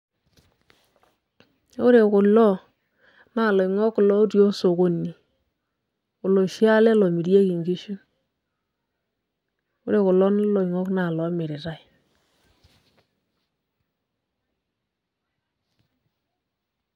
Ore kulo, naa loing'ok lotii osokoni. Oloshi ale lomirieki nkishu. Ore kulo loing'ok naa lomiritai.